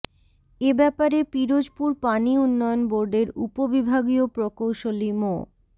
এ ব্যাপারে পিরোজপুর পানি উন্নয়ন বোর্ডের উপবিভাগীয় প্রকৌশলী মো